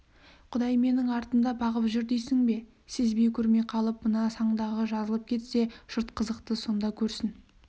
құдай менің артымды бағып жүр дейсің бе сезбей көрмей қалып мына саңдағы жазылып кетсе жұрт қызықты сонда көрсін